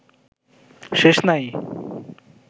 শেষ নাই